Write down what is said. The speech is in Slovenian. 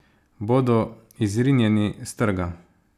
Bodo izrinjeni s trga?